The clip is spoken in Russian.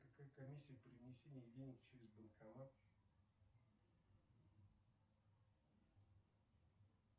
какая комиссия при внесении денег через банкомат